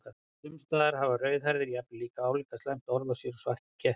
Sums staðar hafa rauðhærðir jafnvel álíka slæmt orð á sér og svartir kettir.